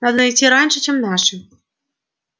надо найти раньше чем наши